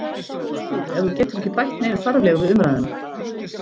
Þegiðu ef þú getur ekki bætt neinu þarflegu við umræðuna.